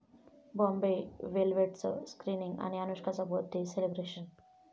बॉम्बे वेलव्हेट'चं स्क्रिनिंग आणि अनुष्काचं बर्थ डे सेलिब्रेशन